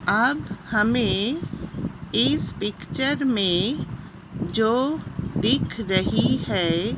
अब हमें इस पिक्चर मे जो दिख रही है।